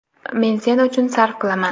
men sen uchun sarf qilaman.